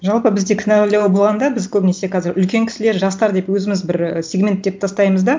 жалпы бізде кінәлау болғанда біз көбінесе қазір үлкен кісілер жастар деп өзіміз бір і сегементтеп тастаймыз да